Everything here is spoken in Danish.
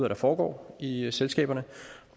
der foregår i i selskaberne